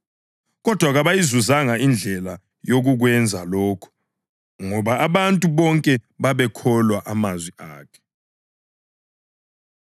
Kodwa kabayizuzanga indlela yokukwenza lokho ngoba abantu bonke babewakholwa amazwi akhe.